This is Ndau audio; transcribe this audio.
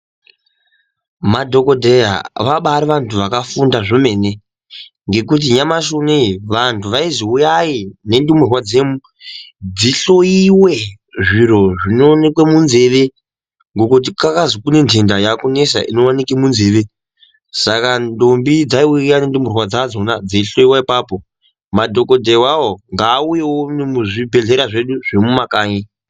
Madhokodheya bari vantu vakafunda zvomene ngekuti nyamashi unowu vantu vaizi uyai nendumurwa dzemu dzihlowiwe zviro zvinovonekwe munzeve ngekuti kwakazi kune nhenda yakunesa inowanikwe munzeve saka ndombi dzaiuya nendumurwa dzadzona dzeihlowiwa apapo madhokodheya awawo ngaauyewo nemuzvibhehlera zvedu zvemumakanyi.